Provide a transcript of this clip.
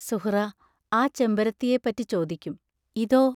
സുഹ്റാ ആ ചെമ്പരത്തിയെപ്പറ്റി ചോദിക്കും: ഇതോ?